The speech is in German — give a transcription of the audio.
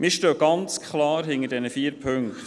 Wir stehen klar hinter diesen vier Punkten.